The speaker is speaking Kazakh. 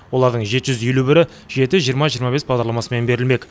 олардың жеті жүз елуі жеті жиырма жиырма бес бағдарламасымен берілмек